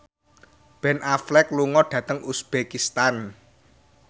Ben Affleck lunga dhateng uzbekistan